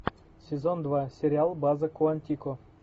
сезон два сериал база куантико